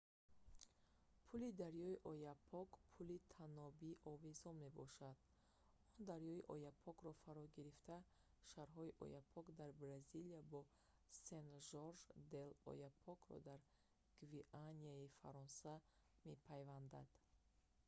пули дарёи ояпок пули танобии овезон мебошад он дарёи ояпокро фаро гирифта шаҳрҳои ояпок дар бразилия бо сен-жорж де л'ояпокро дар гвианаи фаронса мепайвандад